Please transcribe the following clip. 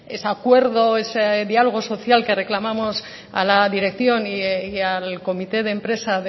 ese acuerdo ese diálogo social que reclamamos a la dirección y al comité de empresa